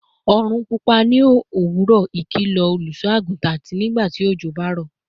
orun pupa ni owuro, ikilo oluso-agutan," ati "Nigbati ojo ba ro